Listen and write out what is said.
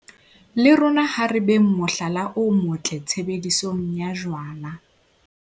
Le rona ha re beng mohlala o motle tshebedisong ya jwala.